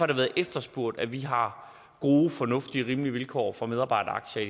det været efterspurgt at vi har gode fornuftige og rimelige vilkår for medarbejderaktier